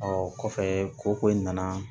kɔfɛ ko ko in nana